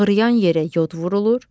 Ağrıyan yerə yod vurulur.